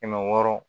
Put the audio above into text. Kɛmɛ wɔɔrɔ